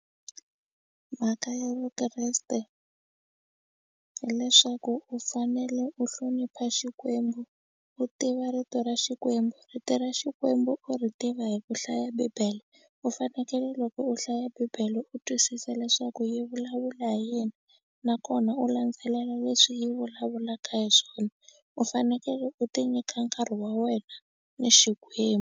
Mhaka ya Vukreste hileswaku u fanele u hlonipha Xikwembu u tiva rito ra Xikwembu rito ra Xikwembu u ri tiva hi ku hlaya bibele u fanekele loko u hlaya bibele u twisisa leswaku yi vulavula hi yini nakona u landzelela leswi yi vulavulaka hi swona u fanekele u ti nyika nkarhi wa wena na Xikwembu.